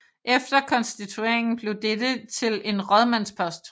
Efter konstitueringen blev dette til en rådmandspost